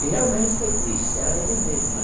E realmente foi triste, era ele mesmo, né?